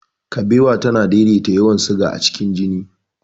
Kabewa tana daidaita yawan siga a cikin jini.